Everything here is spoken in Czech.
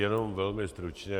Jenom velmi stručně.